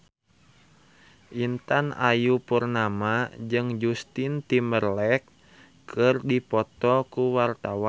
Intan Ayu Purnama jeung Justin Timberlake keur dipoto ku wartawan